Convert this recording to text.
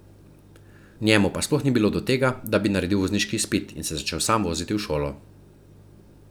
Parkov šestnajsti rojstni dan je napočil in minil, njemu pa sploh ni bilo do tega, da bi naredil vozniški izpit in se začel sam voziti v šolo.